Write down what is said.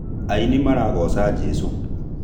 Aini maragoca jesũ